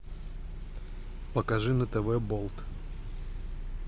покажи на тв болт